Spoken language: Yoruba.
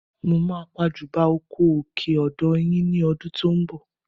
Mo máa pàjùbà oko òkè odò yẹn ní ọdún tó ń bọ̀